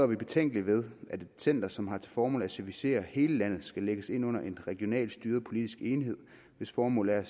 vi betænkelige ved at et center som har til formål at servicere hele landet skal lægges ind under en regionalt styret politisk enhed hvis formål er